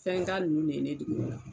Fɛnka ninnu de ye ne dege o la.